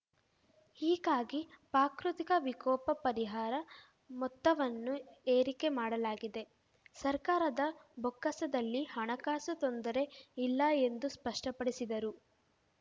ಹೀಗಾಗಿ ಪಾಕೃತಿಕ ವಿಕೋಪ ಪರಿಹಾರ ಮೊತ್ತವನ್ನೂ ಏರಿಕೆ ಮಾಡಲಾಗಿದೆ ಸರ್ಕಾರದ ಬೊಕ್ಕಸದಲ್ಲಿ ಹಣಕಾಸು ತೊಂದರೆ ಇಲ್ಲ ಎಂದು ಸ್ಪಷ್ಟಪಡಿಸಿದರು